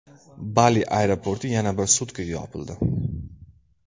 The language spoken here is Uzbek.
Bali aeroporti yana bir sutkaga yopildi.